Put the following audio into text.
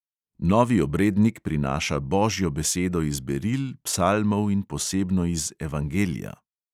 Novi obrednik prinaša božjo besedo iz beril, psalmov in posebno iz evangelija.